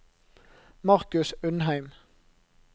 Markus Undheim